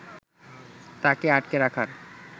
তাকে আটকে রাখার